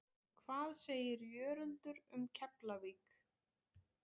Hvað segir Jörundur um Keflavík?